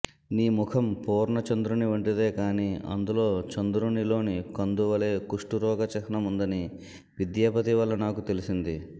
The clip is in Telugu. నీ ముఖం పూర్ణచంద్రుని వంటిదే కాని అందులో చందురుని లోని కందువలె కుష్ఠరోగ చిహ్నముందని విద్యాపతి వల్ల నాకు తెలిసింది